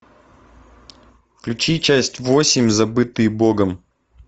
включи часть восемь забытые богом